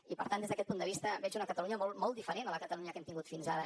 i per tant des d’aquest punt de vista veig una catalunya molt diferent a la catalunya que hem tingut fins ara